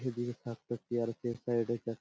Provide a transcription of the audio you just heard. এদিকে square feet এটা--